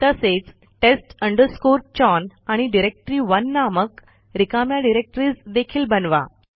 तसेचtest chown आणि डायरेक्टरी1 नामक रिकाम्या डिरेक्टरीज देखील बनवा